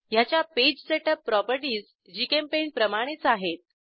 ह्याच्या page setup properties जीचेम्पेंट प्रमाणेच आहेत